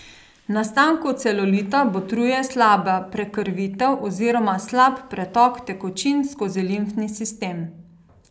Nastanku celulita botruje slaba prekrvitev oziroma slab pretok tekočin skozi limfni sistem.